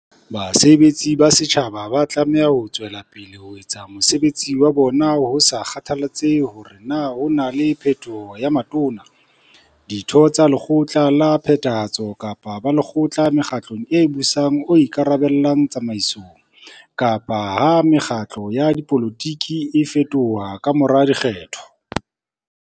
Basebetsi ba setjhaba ba tlameha ho tswe lapele ho etsa mosebetsi wa bona ho sa kgathalatsehe hore na ho na le phetholo ya Matona, Ditho tsa Lekgotla la Phethahatso kapa Balekgotla mokgatlong o busang o ika rabellang tsamaisong, kapa ha mekgatlo ya dipolotiki e fetoha ka mora dikgetho.